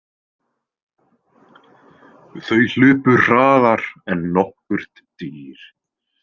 Þau hlupu hraðar en nokkurt dýr.